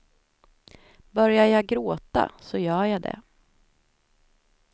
Börjar jag gråta så gör jag det.